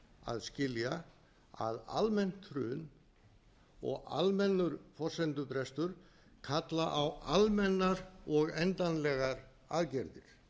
að skilja að almennt hrun og almennur forsendubrestur kallar á almennar og endanlegar aðgerðir